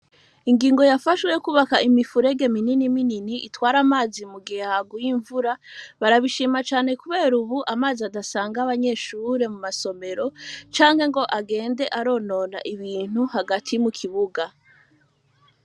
Ingingo yafashwe, y'ukwubaka imifurege minini minini, itwara amazi, mu gihe haguye imvura; barabishima, kubera ubu, amazi adasanga, abanyeshure, mu masomero, canke ngo, agende aronona ibintu, hagati mu kibuga.